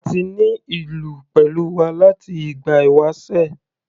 A ti ní ìlú pẹ̀lú wa láti ìgbà ìwásẹ̀.